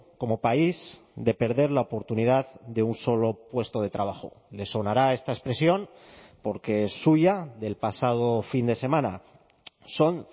como país de perder la oportunidad de un solo puesto de trabajo le sonará esta expresión porque es suya del pasado fin de semana son